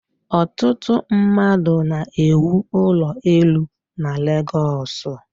Ọtụtụ mmadụ na-ewụ ụlọ elu na Legọsụ.